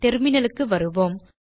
terminal க்கு வருவோம்